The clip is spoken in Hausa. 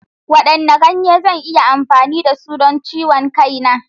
Wadanne ganye zan iya amfani da su don ciwon kai na?